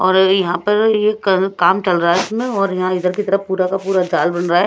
और यहां पर यह क काम चल रहा है इसमें और यहां इधर की तरफ पूरा का पूरा जाल बन रहा है।